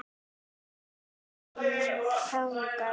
Vilhelm þagði.